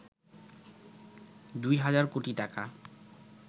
২ হাজার কোটি টাকা